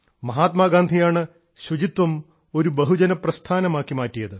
മഹാത്മാഗാന്ധിയാണ് ശുചിത്വം ഒരു ബഹുജന പ്രസ്ഥാനമാക്കി മാറ്റിയത്